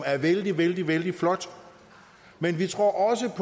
er vældig vældig vældig flot men vi tror også